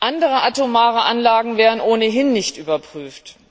Andere atomare Anlagen werden ohnehin nicht überprüft.